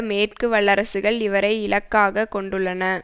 மேற்கு வல்லரசுகள் இவரை இலக்காக கொண்டுள்ளன